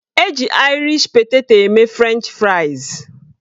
Eji aịrish peteto eme frenchị fraịs